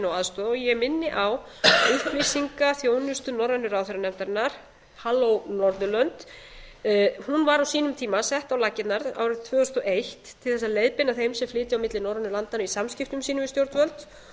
aðstoða ég minni á upplýsingaþjónustu norrænu ráðherranefndarinnar halló norðurlönd hún var á sínum tíma sett á laggirnar árið tvö þúsund og eitt til þess að leiðbeina eins á flytja á milli norrænu landanna í samskiptum sínum við stjórnvöld